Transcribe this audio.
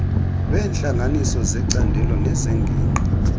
lweentlanganiso zecandelo nezengingqi